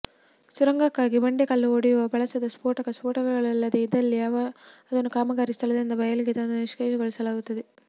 ಸುರಂಗಕ್ಕಾಗಿ ಬಂಡೆ ಕಲ್ಲು ಒಡೆಯಲು ಬಳಸಿದ ಸ್ಫೋಟಕ ಸ್ಫೋಟಗೊಳ್ಳದೇ ಇದ್ದಲ್ಲಿ ಅದನ್ನು ಕಾಮಗಾರಿಯ ಸ್ಥಳದಿಂದ ಬಯಲಿಗೆ ತಂದು ನಿಷ್ಕ್ರಿಯಗೊಳಿಸಲಾಗುತ್ತದೆ